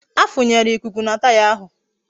A funyere ikuku na taya ahụ